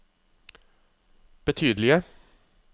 betydelige